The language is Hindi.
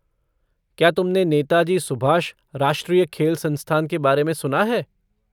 क्या तुमने नेताजी सुभाष राष्ट्रीय खेल संस्थान के बारे में सुना है?